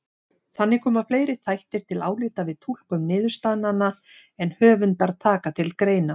Þannig koma fleiri þættir til álita við túlkun niðurstaðnanna en höfundar taka til greina.